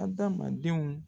Adamadenw